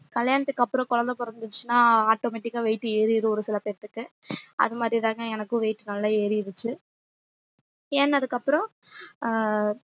கல்யாணத்துக்கு அப்றம் குழந்தை பொறந்துச்சுனா automatic ஆ weight ஏறிரும் ஒரு சில பேத்துக்கு அதுமாறி தாங்க எனக்கு weight நல்ல ஏறிருச்சு ஏற்னதுக்கு அப்றோம் ஆஹ்